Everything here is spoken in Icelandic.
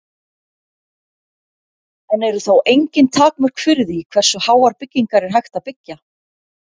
En eru þá engin takmörk fyrir því hversu háar byggingar er hægt að byggja?